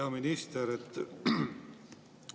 Hea minister!